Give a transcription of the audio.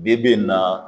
Bi bi in na